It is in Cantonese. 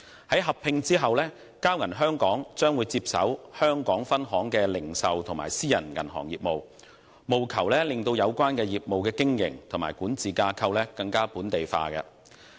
在合併後，交銀香港將會接手香港分行的零售及私人銀行業務，務求令有關業務的經營及管治架構更本地化。